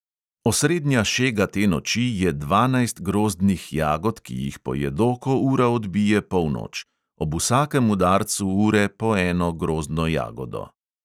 Osrednja šega te noči je dvanajst grozdnih jagod, ki jih pojedo, ko ura odbije polnoč – ob vsakem udarcu ure po eno grozdno jagodo.